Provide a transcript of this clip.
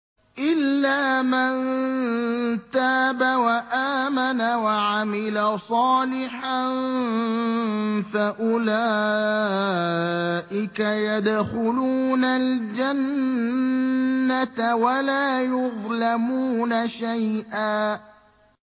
إِلَّا مَن تَابَ وَآمَنَ وَعَمِلَ صَالِحًا فَأُولَٰئِكَ يَدْخُلُونَ الْجَنَّةَ وَلَا يُظْلَمُونَ شَيْئًا